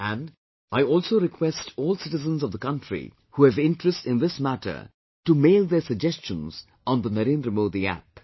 And, I also request all citizens of the country who have interest in this matter to mail their suggestions on NarendraModiApp